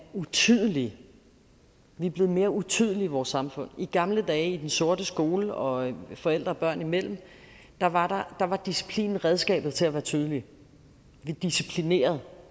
utydelige vi er blevet mere utydelige i vores samfund i gamle dage i den sorte skole og forældre og børn imellem var var disciplinen redskabet til at være tydelig vi disciplinerede